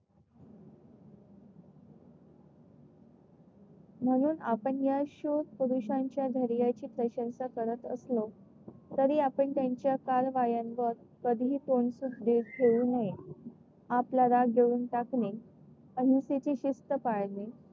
म्हणून आपण या प्रशंसा करत असलो तरी आपण त्यांच्या कारवायांवर कधीही नये. आपला राग गिळून टाकणे आणि तिची शिस्त पाळणे.